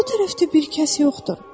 O tərəfdə bir kəs yoxdur.